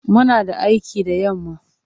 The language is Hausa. Muna da aiki da yamma.